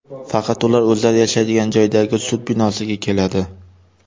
Faqat ular o‘zlari yashaydigan joydagi sud binosiga keladi.